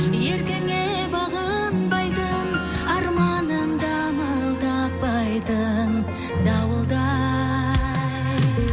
еркіңе бағынбайтын арманым дамыл таппайтын дауылдай